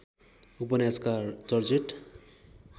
उपन्यासकार जर्जेट